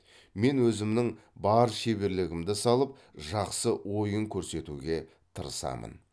мен өзімнің бар шеберлігімді салып жақсы ойын көрсетуге тырысамын